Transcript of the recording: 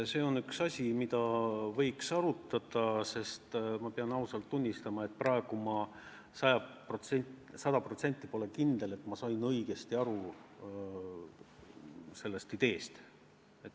See on üks asi, mida võiks arutada, aga ma pean ausalt tunnistama, et praegu ma pole sada protsenti kindel, et ma sain sellest ideest õigesti aru.